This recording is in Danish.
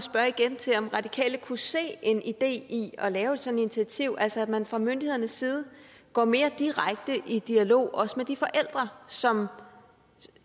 igen til om radikale kunne se en idé i at lave sådan et initiativ altså at man fra myndighedernes side går mere direkte i dialog også med de forældre som